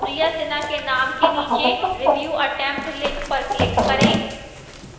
priya sinha के name के नीचे review attempt link पर click करें